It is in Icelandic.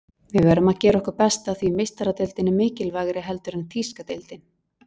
Við verðum að gera okkar besta því Meistaradeildin er mikilvægari heldur en þýska deildin.